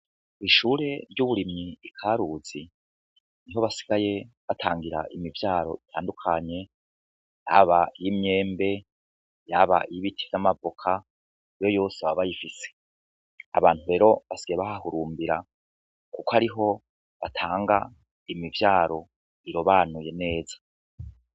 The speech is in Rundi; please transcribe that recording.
Ishure ry'uburimyi Ikaruzi niho basigaye batangira imivyaro itandukanye haba iy'imyembe haba ibiti n'amavoka ,iyo yose baba bayifise . Abantu rero basigaye bahahurumbira kuko ariho batanga imivyaro irobanuye neza.